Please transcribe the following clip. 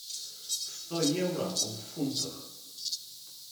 сто евро в фунтах